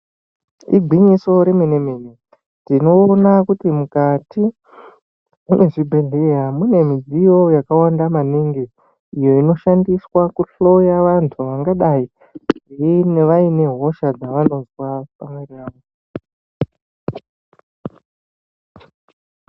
Igwinyiso remenemene tinoona kuti mukati mezvibhehleya mune midziyo yakawanda maningi iyo inoshandiswa kuhloya vantu vangadai vaine hosha dzavanonzwa.